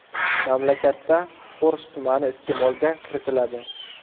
Mamlakatda fors tumani iste’molga kiritiladi.